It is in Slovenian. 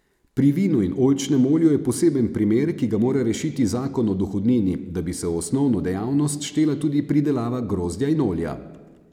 Pri vinu in oljčnem olju je poseben primer, ki ga mora rešiti zakon o dohodnini, da bi se v osnovno dejavnost štela tudi pridelava grozdja in olja.